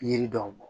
Yiri dɔw bɔn